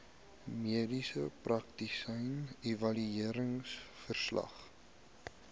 mediese praktisyn evalueringsverslag